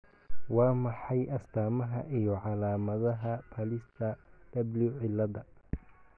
Waa maxay astamaha iyo calaamadaha Pallister W ciladha?